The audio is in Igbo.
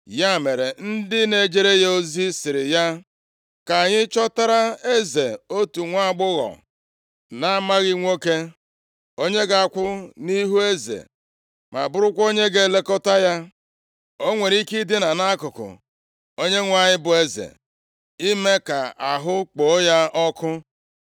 Ya mere, ndị na-ejere ya ozi sịrị ya, “Ka anyị chọtara eze otu nwaagbọghọ na-amaghị nwoke, onye ga-akwụ nʼihu eze ma bụrụkwa onye ga-elekọta ya. O nwere ike idina nʼakụkụ onyenwe anyị bụ eze ime ka ahụ kpoo ya ọkụ.”